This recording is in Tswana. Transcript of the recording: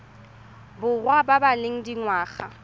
borwa ba ba leng dingwaga